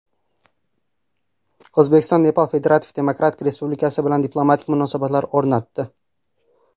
O‘zbekiston Nepal Federativ Demokratik Respublikasi bilan diplomatik munosabatlar o‘rnatdi.